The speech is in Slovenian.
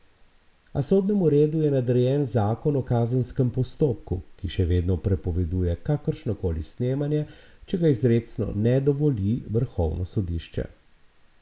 A sodnemu redu je nadrejen zakon o kazenskem postopku, ki še vedno prepoveduje kakršno koli snemanje, če ga izrecno ne dovoli vrhovno sodišče.